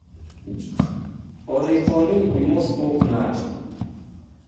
oripo ni imoso pope nade?